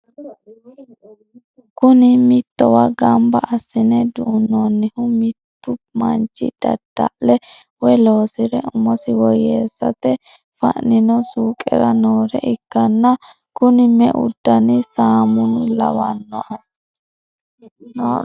Kuni mittowa gamba assine dunoonihu mittu manch dadda'le woye loosire umosi woyeessate fa'nino suuqera noore ikkanna kuni me'u dani saamuna lawannohe?